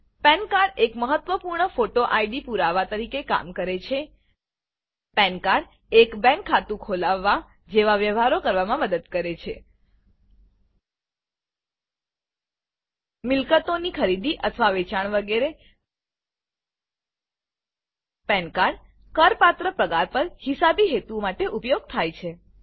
પાન cardપેન કાર્ડ એક મહત્વપૂર્ણ ફોટો આઈડી પુરાવા તરીકે કામ કરે છે પાન cardપેન કાર્ડ એક બેંક ખાતું ખોલાવવા જેવા વ્યવહારો કરવામાં મદદ કરે છે મિલકતોની ખરીદી અથવા વેચાણ વગેરે પાન cardપેન કાર્ડ કરપાત્ર પગાર પર હિસાબી હેતુઓ માટે ઉપયોગ થાય છે